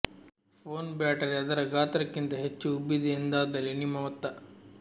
phone battery ಅದರ ಗಾತ್ರಕ್ಕಿಂತ ಹೆಚ್ಚು ಉಬ್ಬಿದೆ ಎಂದಾದಲ್ಲಿ ನಿಮ್ಮ ಮತ್ತ